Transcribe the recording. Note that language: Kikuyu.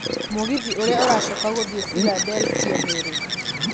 mũgithi ũrĩa ũracoka gũthiĩ Philadelphia nĩ rĩ